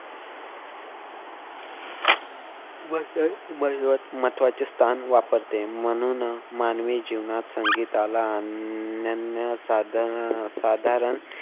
महत्व अह महत्वाचे स्थान वापरते म्हणूनच मानवी जीवनात संगीताला अन्य साधार अह साधारण